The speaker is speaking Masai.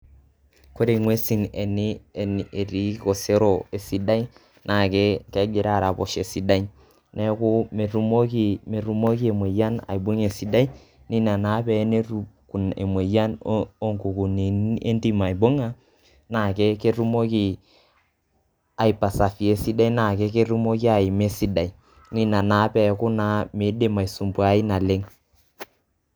Ore ng'uesin etii osero esidai, naa kera posho esidai. Neeku metumoki emoyian aibung'a esidai, na enetum emoyian onkukunini aibung'a, na ketumoki ai persevere esidai na ketumoki aima esidai. Na ina naa peeku naa midim aisumbuai naleng'.